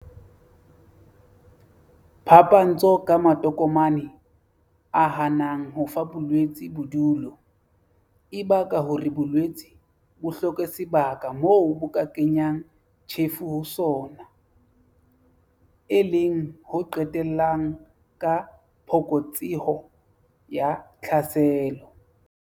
Phapantsho ka matokomane, a hanang ho fa bolwetse bodulo, e baka hore bolwetse bo hloke sebaka moo bo ka kenyang tjhefo ho sona, e leng ho qetellang ka phokotseho ya tlhaselo.